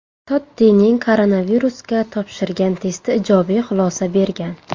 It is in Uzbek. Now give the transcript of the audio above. Tottining koronavirusga topshirgan testi ijobiy xulosa bergan.